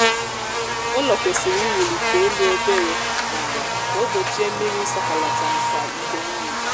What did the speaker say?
ụlọ kwesịrị iwulite elu obere n' ala ka o gbochie mmiri isọkọlata nakwa ide mmiri